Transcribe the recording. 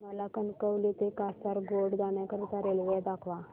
मला कणकवली ते कासारगोड जाण्या करीता रेल्वे दाखवा